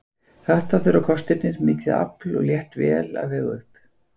Þetta þurfa kostirnir, mikið afl og létt vél, að vega upp.